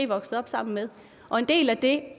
voksede op sammen med og en del af det